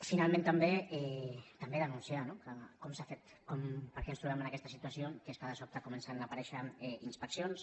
finalment també denunciar no com s’ha fet per què ens trobem en aquesta situació que és que de sobte comencen a aparèixer inspeccions